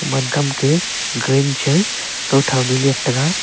wam kam ke green cha kow thow ley ngan taiga.